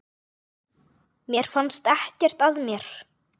Mér fannst ekkert að mér.